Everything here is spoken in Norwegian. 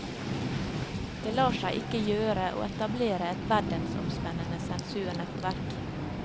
Det lar seg ikke gjøre å etablere et verdensomspennende sensurnettverk.